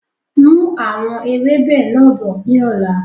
Mú àwọn ewébẹ̀ náà bọ̀ ni ọ̀la!